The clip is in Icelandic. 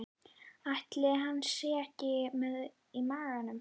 Ætli hann sé ekki með í maganum?